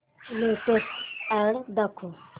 latest ad दाखव